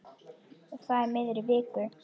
Og það í miðri viku.